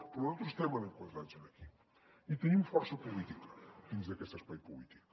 però nosaltres estem enquadrats aquí i tenim força política dins d’aquest espai polític